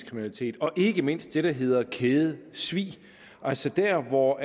kriminalitet og ikke mindst det der hedder kædesvig altså der hvor